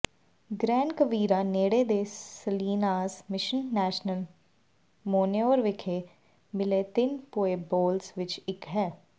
grain Quivira ਨੇੜੇ ਦੇ Salinas Mission National Monument ਵਿਖੇ ਮਿਲੇ ਤਿੰਨ ਪੁਏਬਲੋਸ ਵਿੱਚੋਂ ਇੱਕ ਹੈ